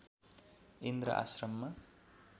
इन्द्र आश्रममा